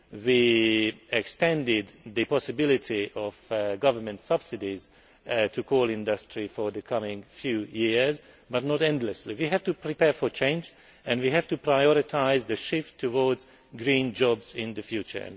We have extended the possibility of government subsidies to the coal industry for the next few years, but not endlessly. We have to prepare for change and we have to prioritise the shift towards green jobs in the future.